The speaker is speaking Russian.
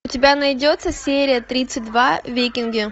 у тебя найдется серия тридцать два викинги